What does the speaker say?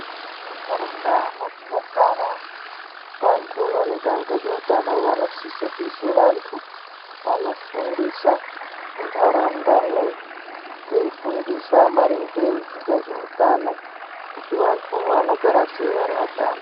Mundaraunda mwatinogara vantu vanoita ngezveutano vanosise kuise vantu vanofundisa munharaundamo veifundisa maringe ngezveutano kuti vantu vanogara sei vari vatanu.